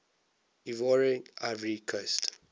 ivoire ivory coast